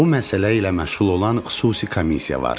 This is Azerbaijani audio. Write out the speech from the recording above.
Bu məsələ ilə məşğul olan xüsusi komissiya var.